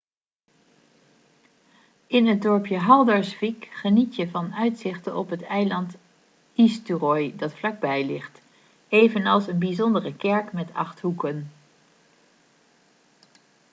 in het dorpje haldarsvík geniet je van uitzichten op het eiland eysturoy dat vlakbij ligt evenals een bijzondere kerk met acht hoeken